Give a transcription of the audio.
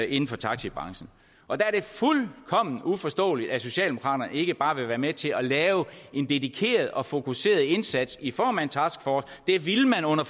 inden for taxibranchen og der er det fuldkommen uforståeligt at socialdemokraterne ikke bare vil være med til at lave en dedikeret og fokuseret indsats i form af en taskforce det ville man under